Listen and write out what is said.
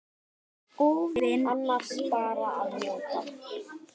óvin ræðst oss móti.